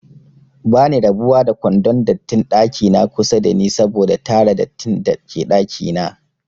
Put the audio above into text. Bani rabuwa da kwandon dattin ɗakina kusa dani saboda tara dattin dake ɗakina